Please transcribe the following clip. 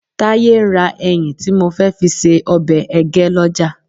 Táyé ń ra ẹyìn tí mo fẹ́ fi ṣe ọbẹ̀ ẹgẹ́ lọ́jà